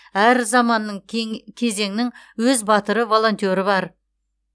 әр заманның кең кезеңнің өз батыры волонтері бар